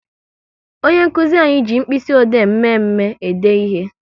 Onye nkụzi anyị ji mkpịsị ode mme mme e de ihe